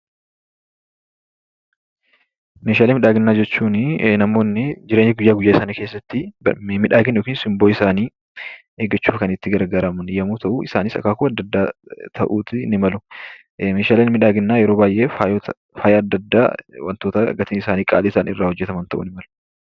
Meeshaalee miidhaginaa jechuun namoonni jireenya guyyaa guyyaa isaanii keessatti miidhagina yookiis simboo isaanii eeggachuuf kan itti gargaaraman yommuu ta'u, isaanis akaakuu adda addaa ta'uutii ni malu. Meeshaaleen miidhaginaa yeroo baay'ee faaya adda addaa, wantoota gatiin isaanii qaalii ta'an irraa hojjetamuu ni mala.